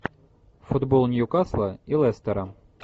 футбол ньюкасла и лестера